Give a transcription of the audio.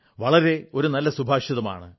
വളരെ നല്ല ഒരു സുഭാഷിതമാണ്